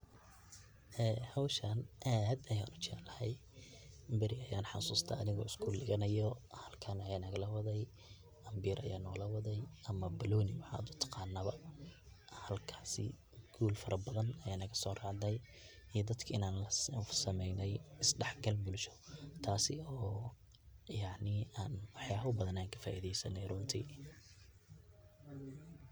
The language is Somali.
Ee howshan aad ayan u jeclahay bari ayan xasusta anigo skul diganayo halkan aya nalaga waday ambir aya nalowaday ama banoni waxaad u taqanaba halkasi guul farabadan aya nagasoracday iyo in dadka aan kusameynay is daxgal bulsho taasi oo yacni aan waxyaaba badan aan ka faidaysane runti.